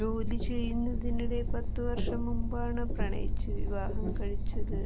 ജോലിചെയ്യുന്നതിനിടെ പത്തുവർഷം മുൻപാണ് പ്രണയിച്ച് വിവാഹം കഴിച്ചത്